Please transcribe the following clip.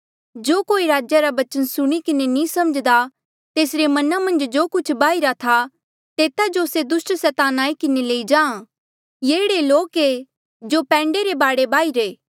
जो कोई राज्या रा बचन सुणी किन्हें नी समझ्दा तेसरे मना मन्झ जो कुछ बाहिरा था तेता जो से दुस्ट सैतान आई किन्हें लेई जाहाँ ये एह्ड़े लोक ऐ जो पैंडे रे बाढे बाहिरे थे